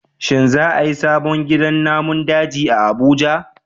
Shin za a yi sabon gidan namun daji a Abuja?